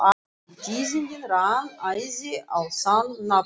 Við tíðindin rann æði á þann nafnlausa.